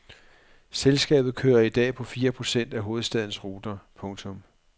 Selskabet kører i dag på fire procent af hovedstadens ruter. punktum